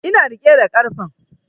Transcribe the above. Ina riƙe da karfen